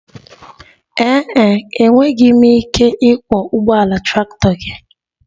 Ee e, enweghị m ike ịkwọ ụgbọala traktọ gị